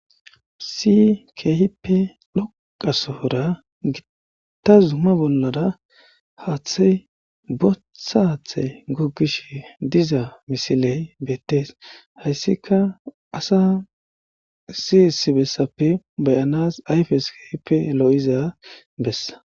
Issi keehippe loqasoora gitta zumma bollara haathey bothathe guggish diza misiley beettees hayssika asa siyissibessappe beyanas ayfes keehippe loo7iza bessa